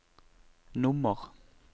nummer